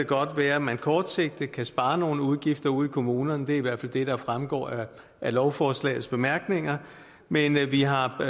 godt være at man kortsigtet kan spare nogle udgifter ude i kommunerne det er i hvert fald det der fremgår af lovforslagets bemærkninger men vi har